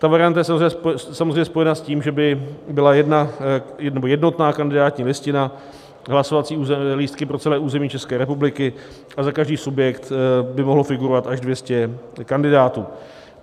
Ta varianta je samozřejmě spojena s tím, že by byla jednotná kandidátní listina, hlasovací lístky pro celé území České republiky, a za každý subjekt by mohlo figurovat až 200 kandidátů.